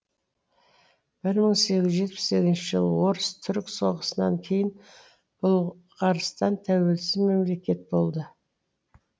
бір мың сегіз жүз жетпіс сегізінші жылы орыс түрік соғысынан кейін бұл ғарстан тәуелсіз мемлекет болды